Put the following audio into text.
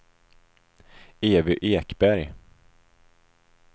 Evy Ekberg